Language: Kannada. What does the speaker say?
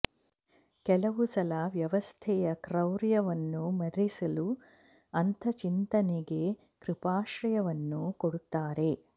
ಕೆಲವು ಸಲ ವ್ಯವಸ್ಥೆಯ ಕ್ರೌರ್ಯ ವನ್ನು ಮರೆಸಲು ಅಂಥ ಚಿಂತನೆಗೆ ಕೃಪಾಶ್ರಯವನ್ನೂ ಕೊಡುತ್ತಾರೆ